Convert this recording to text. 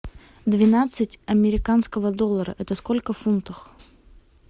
двенадцать американского доллара это сколько в фунтах